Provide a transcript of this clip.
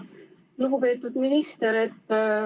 Lugupeetud minister!